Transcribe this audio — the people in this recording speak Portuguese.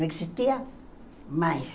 Não existia mais.